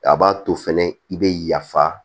A b'a to fɛnɛ i bɛ yafa